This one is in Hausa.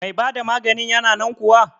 Mai bada maganin yana nan kuwa?